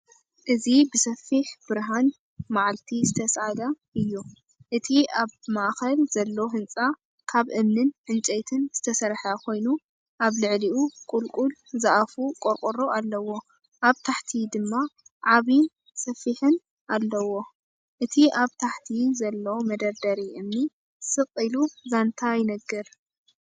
እዚ ብሰፊሕ ብርሃን መዓልቲ ዝተሳእለ እዩ። እቲ ኣብ ማእከል ዘሎ ህንጻ ካብ እምንን ዕንጨይትን ዝተሰርሐ ኮይኑ፡ኣብ ልዕሊኡ ቁልቁል ዝኣፉ ቆርቆሮ ኣለዎ ፡ኣብ ታሕቲ ድማ ዓቢን ጸፍሒን ኣለዎ። እቲ ኣብ ታሕቲ ዘሎ መደርደሪ እምኒ ስቕ ኢሉ ዛንታ ይነግር።